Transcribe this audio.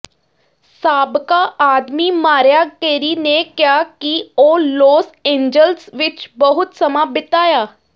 ਸਾਬਕਾ ਆਦਮੀ Mariah Carey ਨੇ ਕਿਹਾ ਕਿ ਉਹ ਲੌਸ ਏਂਜਲਸ ਵਿੱਚ ਬਹੁਤ ਸਮਾਂ ਬਿਤਾਇਆ